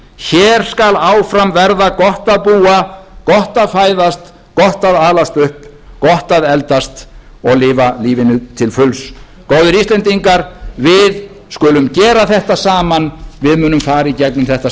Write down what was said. hér skal áfram verða gott að búa gott að fæðast gott að alast upp gott að eldast og lifa lífinu til fulls góðir íslendingar við skulum gera þetta saman við munum fara í gegnum þetta